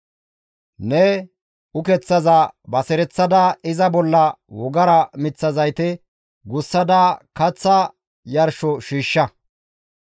Ne ukeththaza basereththada iza bolla wogara miththa zayte gussada kaththa yarsho shiishsha.